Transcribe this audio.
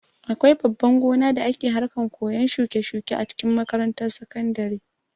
Akwai babban gona da ake harkan koyan shuke-shuke a cikin makarantar sakandare.